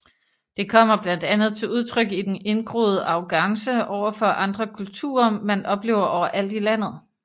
Det kommer blandt andet til udtryk i den indgroede arrogance overfor andre kulturer man oplever overalt i landet